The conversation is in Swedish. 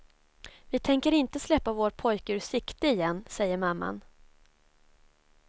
Vi tänker inte släppa vår pojke ur sikte igen, säger mamman.